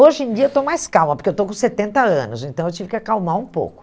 Hoje em dia eu estou mais calma, porque eu estou com setenta anos, então eu tive que acalmar um pouco.